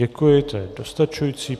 Děkuji, to je dostačující.